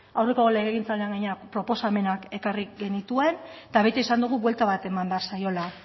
aurreko legegintzaldian gainera proposamenak ekarri genituen eta beti esan dugu buelta bat eman behar zaiola